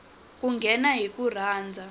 ku nghena hi ku rhandza